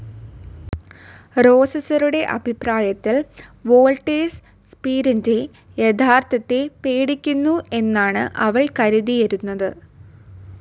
റോസസറുടെ അഭിപ്രായത്തിൽ, വോൾട്ടേഴ്സ് സ്‌പീരിൻ്റെ യാഥാർഥ്യത്തെ പേടിക്കുന്നു എന്നാണു അവൾ കരുതിയരുന്നത്.